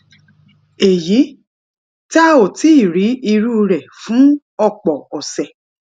èyí tá ò tíì rí irú rè fún òpò òsè